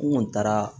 N kɔni taara